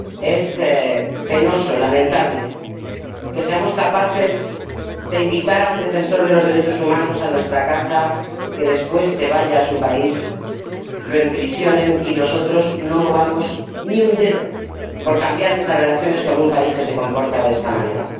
Es penoso, lamentable, que seamos capaces de invitar a un defensor de los derechos humanos a nuestra casa, que después se vaya a su país, lo encarcelen, y nosotros no movamos ni un dedo por cambiar nuestras relaciones con un país que se comporta de esta manera.